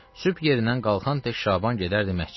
Sübh yerindən qalxan tək Şaban gedərdi məscidə.